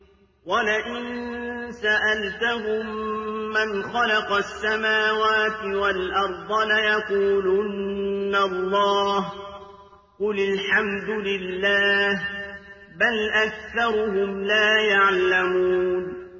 وَلَئِن سَأَلْتَهُم مَّنْ خَلَقَ السَّمَاوَاتِ وَالْأَرْضَ لَيَقُولُنَّ اللَّهُ ۚ قُلِ الْحَمْدُ لِلَّهِ ۚ بَلْ أَكْثَرُهُمْ لَا يَعْلَمُونَ